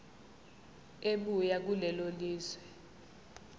ebuya kulelo lizwe